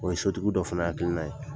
O ye sotigiw dɔw fana hakilina ye.